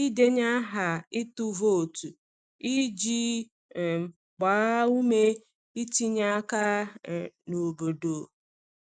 ịdenye aha ịtụ vootu iji um gbaa ume itinye aka um n’obodo.